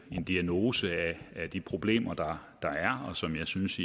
en diagnose af de problemer der er og som jeg synes